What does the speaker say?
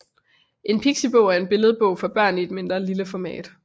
En pixibog er en billedbog for børn i et lille format